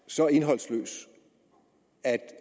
så indholdsløs at